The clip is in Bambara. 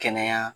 Kɛnɛya